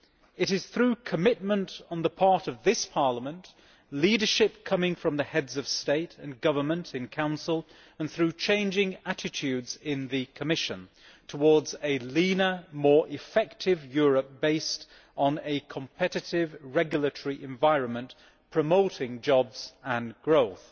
It is through commitment on the part of this Parliament, leadership from the Heads of State and Government in Council and through changing attitudes in the Commission towards a leaner, more effective Europe, based on a competitive regulatory environment promoting jobs and growth.